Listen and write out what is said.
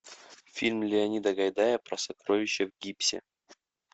фильм леонида гайдая про сокровища в гипсе